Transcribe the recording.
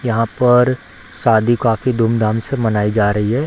यहाँ पर शादी काफी धूमधाम से मनाई जा रही है।